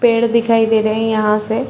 पेड़ दिखाई दे रहे है यहाँ से --